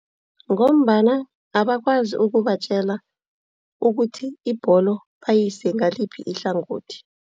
Ngombana abakwazi ukubatjela ukuthi ibholo bayise ngaliphi ihlangothi.